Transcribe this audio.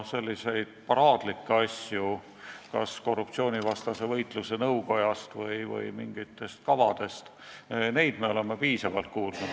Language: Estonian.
Paraadlikke asju kas korruptsioonivastase võitluse nõukogust või mingitest kavadest me oleme juba piisavalt kuulnud.